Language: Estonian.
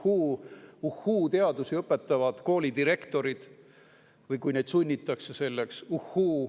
Kas uhhuu-teadusi õpetavad koolidirektorid või kas neid sunnitakse selleks?